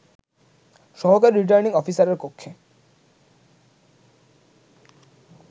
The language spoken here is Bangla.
সহকারী রিটার্নিং অফিসারের কক্ষে